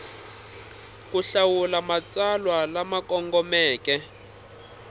ku hlawula matsalwa lama kongomeke